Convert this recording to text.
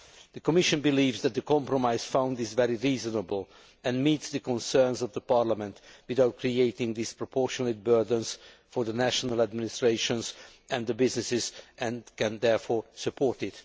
The Commission believes that the compromise found is very reasonable and meets the concerns of the Parliament without creating disproportionate burdens for the national administrations and businesses and it can therefore support it.